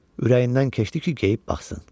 Ürəyindən keçdi ki, geyib baxsın.